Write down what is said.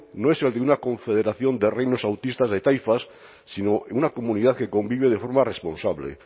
no es el de una confederación de reinos autistas de taifas sino el de una comunidad que convive de forma responsable